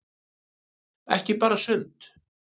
Ekki bara sumt.